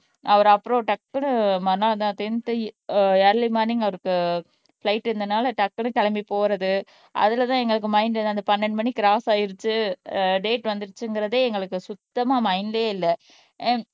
அவரு அப்புறம் டக்குன்னு மறுநாள் தான் டென்த் இயர்லி மார்னிங் அவருக்கு பிலைட் இருந்தனால டக்குன்னு கிளம்பி போறது அதுலதான் எங்களுக்கு மைண்ட் அந்த பன்னெண்டு மணிக்கு கிராஸ் ஆயிருச்சு ஆஹ் டேட் வந்திருச்சுங்கிறதே எங்களுக்கு சுத்தமா மைண்ட்லயே இல்லை